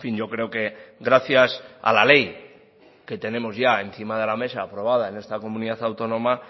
yo creo que gracias a la ley que tenemos ya encima de la mesa aprobada en esta comunidad autónoma